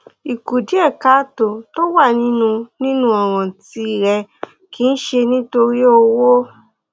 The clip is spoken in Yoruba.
ìkùdíẹkáàtó tó wà nínú nínú ọràn tìrẹ kì í ṣe nítorí owó